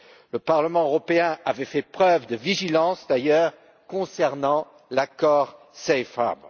Le Parlement européen avait fait preuve de vigilance, d'ailleurs, concernant l'accord Safe Harbor